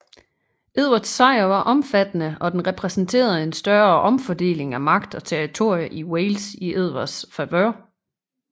Edvards sejr var omfattende og den repræsenterede en større omfordeling af magt og territorier i Wales i Edvards favør